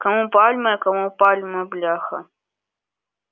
кому пальмы а кому пальма бляха